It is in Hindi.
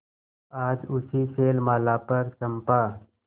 आज उसी शैलमाला पर चंपा